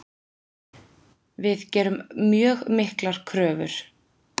Við gerum mjög miklar kröfur.